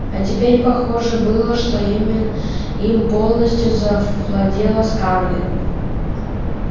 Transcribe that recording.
а теперь похоже было что ими им полностью завладела скарлетт